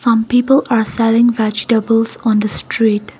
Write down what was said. some people are selling vegetables on the street.